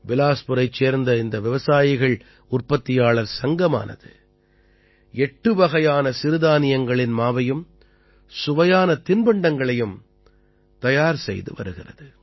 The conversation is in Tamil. பிலாஸ்புரைச் சேர்ந்த இந்த விவசாயிகள் உற்பத்தியாளர் சங்கம் எட்டு வகையான சிறுதானியங்களின் மாவையும் சுவையான தின்பண்டங்களையும் தயார் செய்து வருகிறது